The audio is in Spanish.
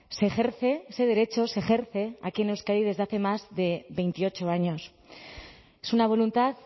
se ejerce ese derecho se ejerce aquí en euskadi desde hace más de veintiocho años es una voluntad